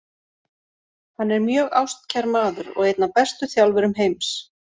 Hann er mjög ástkær maður og einn af bestu þjálfurum heims.